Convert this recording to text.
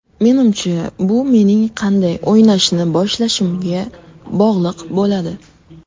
Menimcha, bu mening qanday o‘ynashni boshlashimga bog‘liq bo‘ladi.